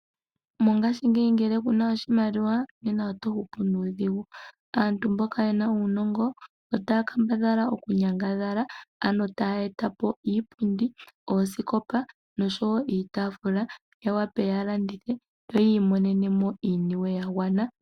Mongaashingeyi ngele kuna oshimaliwa nena oto hupu nuudhigu. Aantu mboka yena uunongo otaya kambadhala oku nyangadhala ano taya etapo iipundi oosikopa nosho woo iitaafula ya wape ya landithe yo yi imonene mo iimaliwa ya gwana.